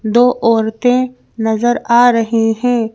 दो औरतें नजर आ रही हैं।